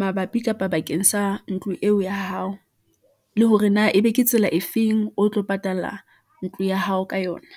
mabapi kapa bakeng sa ntlo eo ya hao , le hore na ebe ke tsela e feng o tlo patala ntlo ya hao ka yona.